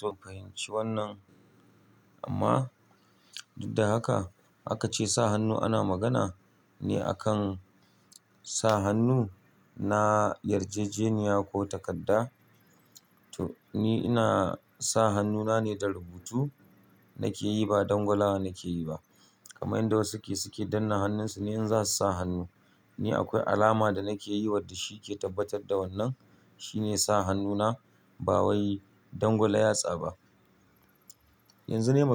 To fahimci wannan amma duk da haka aka ce sa hannu ana magana ne akan sa hannu na yarjejeniya ko takarda. To ni ina sa hannuna ne da rubutu nake yi ba dangwalawa nake yi ba. Kaman yadda wasu suke, suke danna hannunsu ne in za su sa hannu. Ni akwai alama da nake yiwa da shi ke tabbatar da wannan shine sa hannuna ba wai dangwala yatsaba. Yanzu ne.